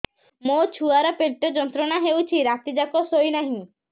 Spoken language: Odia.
ମୋ ଛୁଆର ପେଟ ଯନ୍ତ୍ରଣା ହେଉଛି ରାତି ଯାକ ଶୋଇନାହିଁ